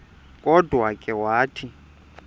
kodwa ke wathi